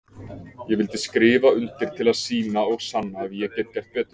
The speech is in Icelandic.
Ég vildi skrifa undir til að sýna og sanna að ég get gert betur.